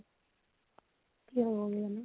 কি হবগে জানো